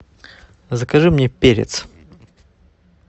закажи мне перец